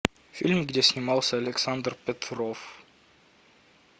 фильм где снимался александр петров